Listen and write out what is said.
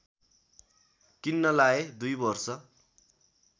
किन्नलाऐ दुई वर्ष